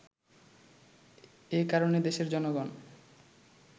এ কারণে দেশের জনগণ